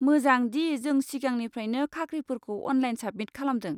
मोजां दि जों सिगांनिफ्राइनो खाख्रिफोरखौ अनलाइन साबमिट खालामदों।